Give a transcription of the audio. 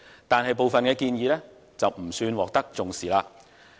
但是，部分建議卻不算獲得重視。